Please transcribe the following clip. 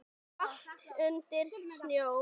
Allt undir snjó.